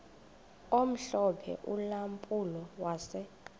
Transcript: omhlophe ulampulo wase